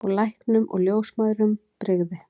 Og læknum og ljósmæðrum brygði.